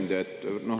Hea ettekandja!